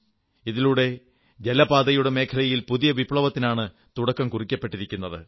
ഇതിലൂടെ ജലപാതയുടെ മേഖലയിൽ പുതിയ വിപ്ലവത്തിനാണ് തുടക്കം കുറിച്ചിരിക്കുന്നത്